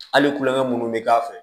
Hali kulonkɛ minnu bɛ k'a fɛ